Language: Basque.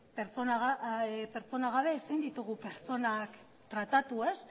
pertsonak gara ezin ditugu pertsonak tratatu